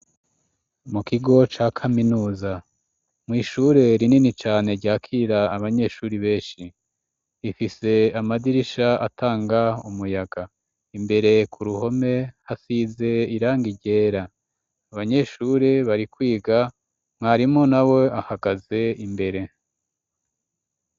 mu kigo cya kaminusa mwishure rinini cane ryakira abanyeshuri benshi ifise amadirisha atanga umuyaga imbere ku ruhome hasize iranga ryera abanyeshure bari kwiga mwarimo na we ahagaze imbere